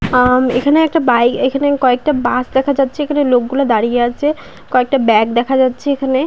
আ-ম-ম এখানে একটা বাই এখানে কয়েকটা বাস দেখা যাচ্ছে। এখানে লোক গুলো দাঁড়িয়ে আছে । কয়েকটা ব্যাগ দেখা হচ্ছে এইখানে।